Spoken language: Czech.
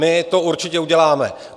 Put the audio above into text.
My to určitě uděláme.